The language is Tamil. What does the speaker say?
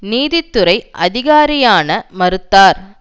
நீதித்துறை அதிகாரியான மறுத்தார்